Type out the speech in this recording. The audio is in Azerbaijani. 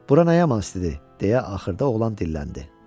Bura nə yaman istidir deyə axırda oğlan dilləndi.